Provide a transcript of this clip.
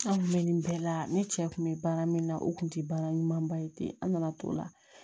An kun bɛ nin bɛɛ la ne cɛ kun bɛ baara min na o kun tɛ baara ɲuman ye an nana to la